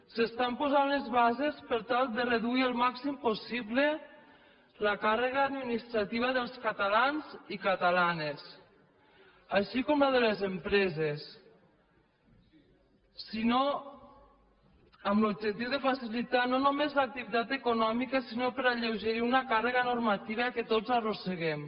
s’estan posant les bases per tal de reduir el màxim possible la càrrega administrativa dels catalans i catalanes així com de les empreses amb l’objectiu de facilitar no només l’activitat econòmica sinó per alleugerir una càrrega normativa que tots arrosseguem